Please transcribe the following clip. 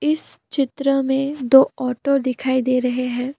इस चित्र में दो ऑटो दिखाई दे रहे हैं।